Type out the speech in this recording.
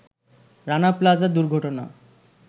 রানা প্লাজা দুর্ঘটনা